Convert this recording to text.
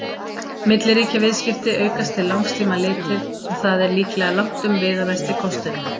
Milliríkjaviðskipti aukast til langs tíma litið, og það er líklega langtum viðamesti kosturinn.